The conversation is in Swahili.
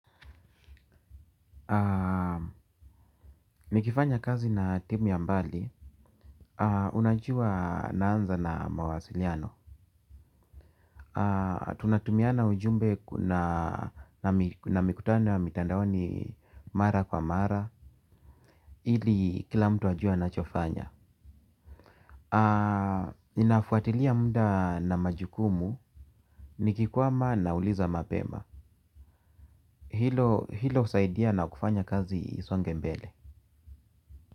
Nikifanya kazi na timu ya mbali. Unajua naanza na mawasiliano. Tunatumiana ujumbe na mikutano ya mitandaoni mara kwa mara ili kila mtu ajue ana chofanya. Ninafuatilia mda na majukumu. Nikikwama na uliza mapema. Hilo husaidia na kufanya kazi isonge mbele.